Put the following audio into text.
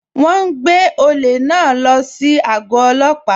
Wọn n gbẹ̀ ọ̀lẹ̀ náà ló sí ago òlópà.